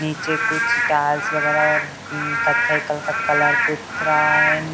नीचे कुछ टाइल्स वगैरह और उन कथई कलर का कलर पूत रहा है।